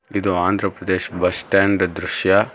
ಇದು Andhra Pradesh bus stand ದೃಶ್ಯ.